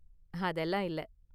அதெல்லாம் இல்ல.